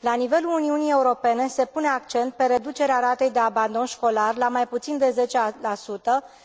La nivelul Uniunii Europene se pune accent pe reducerea ratei de abandon școlar la mai puțin de 10